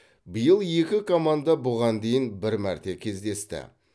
биыл екі команда бұған дейін бір мәрте кездесті